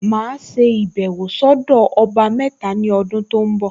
Màá ṣe ìbẹ̀wọ̀ sọ́dọ̀ ọba mẹ́ta ní ọdún tó ń bọ̀